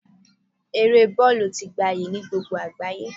Eré bọ́ọ̀lù ti gabyi ni gbogbo àgbáyé